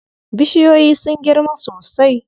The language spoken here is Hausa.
Bishiyoyin sun girma sosai.